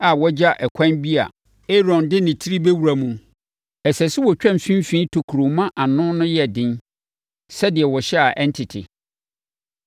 a wɔagya ɛkwan bi a Aaron de ne tiri bɛwura mu. Ɛsɛ sɛ wɔtwa mfimfini tokuro ma ano no yɛ den sɛdeɛ wɔhyɛ a ɛrentete.